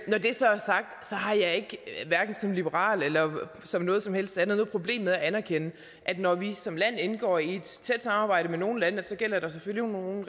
så har jeg hverken som liberal eller noget som helst andet noget problem med at anerkende at når vi som land indgår i et tæt samarbejde med nogle lande gælder der selvfølgelig nogle